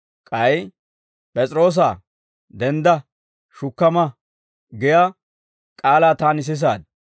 K'ay, ‹P'es'iroosaa, dendda; shukka ma› giyaa k'aalaa taani sisaad.